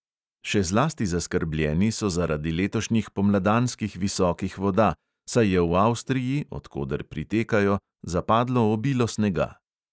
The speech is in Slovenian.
Še zlasti zaskrbljeni so zaradi letošnjih pomladanskih visokih voda, saj je v avstriji, od koder pritekajo, zapadlo obilo snega.